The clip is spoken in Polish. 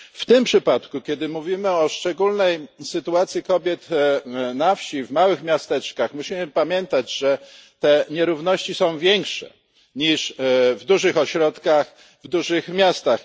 W tym przypadku, kiedy mówimy o szczególnej sytuacji kobiet na wsi, w małych miasteczkach, musimy pamiętać, że te nierówności są większe niż w dużych ośrodkach, w dużych miastach.